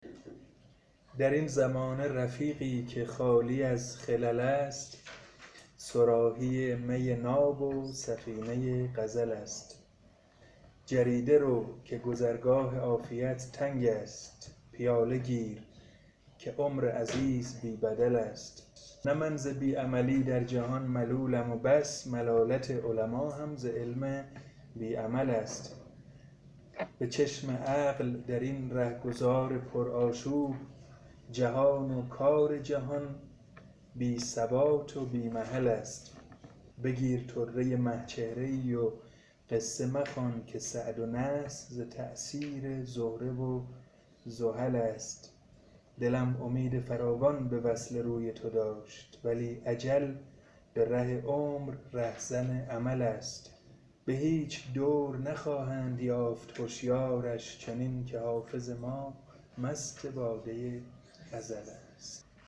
در این زمانه رفیقی که خالی از خلل است صراحی می ناب و سفینه غزل است جریده رو که گذرگاه عافیت تنگ است پیاله گیر که عمر عزیز بی بدل است نه من ز بی عملی در جهان ملولم و بس ملالت علما هم ز علم بی عمل است به چشم عقل در این رهگذار پرآشوب جهان و کار جهان بی ثبات و بی محل است بگیر طره مه چهره ای و قصه مخوان که سعد و نحس ز تأثیر زهره و زحل است دلم امید فراوان به وصل روی تو داشت ولی اجل به ره عمر رهزن امل است به هیچ دور نخواهند یافت هشیارش چنین که حافظ ما مست باده ازل است